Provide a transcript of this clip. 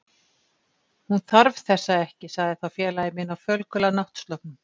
Hún þarf þessa ekki sagði þá félagi minn á fölgula náttsloppnum.